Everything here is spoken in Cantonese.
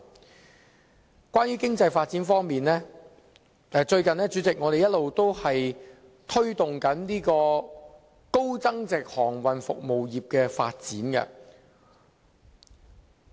主席，關於經濟發展方面，我們最近一直推動高增值航運服務業的發展。